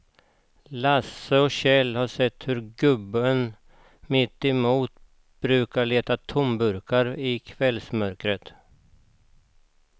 Lasse och Kjell har sett hur gubben mittemot brukar leta tomburkar i kvällsmörkret.